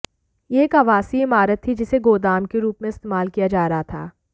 यह एक आवासीय इमारत थी जिसे गोदाम के रूप में इस्तेमाल किया जा रहा था